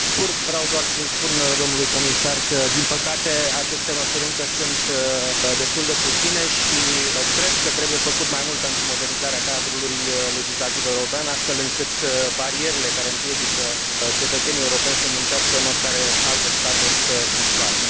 Pe scurt, vreau doar să i spun domnului comisar că, din păcate, aceste măsuri sunt încă destul de puține și cred că trebuie făcut mai mult pentru modernizarea cadrului legislativ european, astfel încât barierele care împiedică cetățenii europeni să muncească în oricare alte state să dispară.